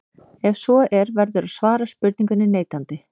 Ef svo er verður að svara spurningunni neitandi.